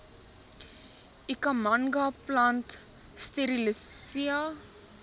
ikhamanga plant strelitzia